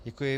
Děkuji.